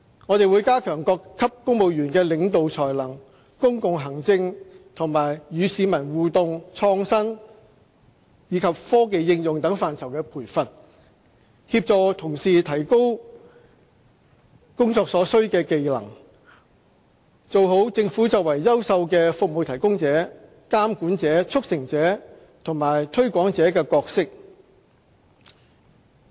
我們會加強各級公務員的領導才能、公共行政、與市民互動溝通、創新及科技應用等範疇的培訓，協助同事提高工作所需的技能，做好政府作為優秀的"服務提供者"、"監管者"、"促成者"和"推廣者"的角色。